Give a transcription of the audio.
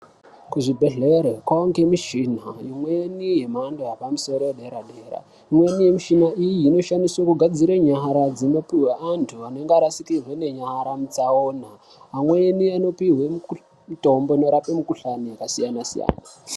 Kuzvibhedhleya kowanikwe michina imweni yemhando yepamusoro yedera dera imweni michina iyi inoshandiswe kugadzire nyara dzinopihwa antu anenge arashikirwe nenyara mutsaona amweni anopihwe mitombo inorape mikuhlani yakasiyana siyana.